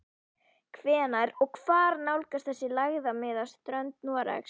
Hvenær og hvar nálgast þessi lægðarmiðja strönd Noregs?